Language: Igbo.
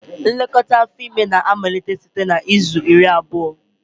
Nlekọta afọ ime na-amalite site na izu iri na abụọ